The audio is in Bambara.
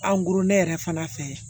goro yɛrɛ fana fɛ